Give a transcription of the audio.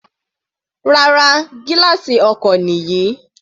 Rárá, gílààsì ọkọ̀ nìyí.